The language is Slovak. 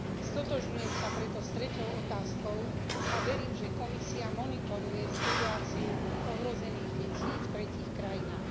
Stotožňujem sa preto s treťou otázkou a verím, že Komisia monitoruje situáciu ohrozených detí v tretích krajinách.